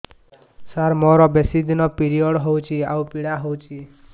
ସାର ମୋର ବେଶୀ ଦିନ ପିରୀଅଡ଼ସ ହଉଚି ଆଉ ପୀଡା ହଉଚି